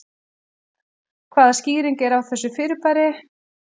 Hvaða skýring er á þessu fyrirbæri?